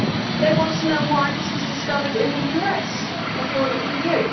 They want to know why this was discovered in the US before the EU.